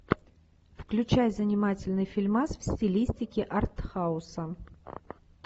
включай занимательный фильмас в стилистике артхауса